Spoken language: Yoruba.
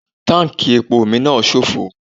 Táǹkì epo mi náà sófo.